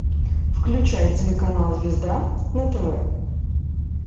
включай телеканал звезда на тв